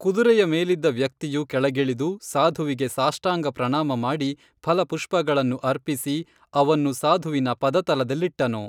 ಕುದುರೆಯ ಮೇಲಿದ್ದ ವ್ಯಕ್ತಿಯು ಕೆಳಗಿಳಿದು ಸಾಧುವಿಗೆ ಸಾಷ್ಟಾಂಗ ಪ್ರಣಾಮ ಮಾಡಿ ಫಲಪುಷ್ಪಗಳನ್ನು ಅರ್ಪಿಸಿ ಅವನ್ನು ಸಾಧುವಿನ ಪದತಲದಲ್ಲಿಟ್ಟನು